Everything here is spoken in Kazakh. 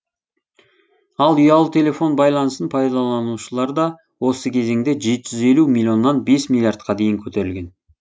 ал ұялы телефон байланысын пайдаланушылар да осы кезеңде жеті жүз елу миллионнан бес миллиардқа дейін көтерілген